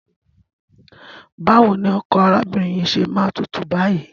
Báwo ni ọkọ arábìnrin yìí ṣe máa tútù báyìí?